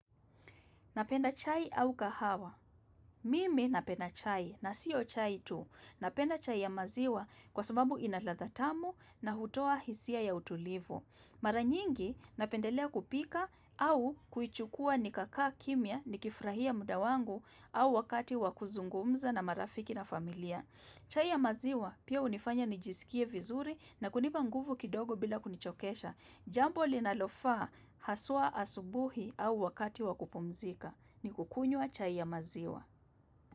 Napenda chai au kahawa. Mimi napenda chai na sio chai tu. Napenda chai ya maziwa kwa sababu ina ladhatamu na hutoa hisia ya utulivu. Maranyingi napendelea kupika au kuichukua nikakaa kimya nikifrahia mudawangu au wakati wakuzungumza na marafiki na familia. Chai ya maziwa, pia unifanya nijisikie vizuri na kunipa nguvu kidogo bila kunichokesha. Jambo linalofaa, haswa asubuhi au wakati wakupumzika. Ni kukunywa chai ya maziwa.